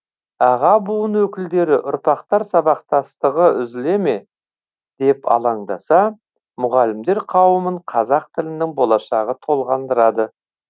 аға буын өкілдері ұрпақтар сабақтастығы үзіле ме деп алаңдаса мұғалімдер қауымын қазақ тілінің болашағы толғандырады